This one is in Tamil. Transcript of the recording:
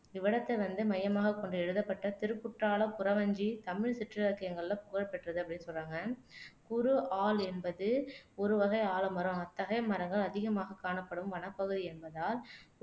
இவ்விடத்தை வந்து மையமாகக் கொண்டு எழுதப்பட்ட திருக்குற்றாலக் குறவஞ்சி தமிழ் சிற்றிலக்கியங்களில்ல புகழ் பெற்றது அப்படின்னு சொல்றாங்க குறு ஆல் என்பது ஒருவகை ஆலமரம் அத்தகைய மரங்கள் அதிகமாகக் காணப்படும் வனப்பகுதி என்பதால்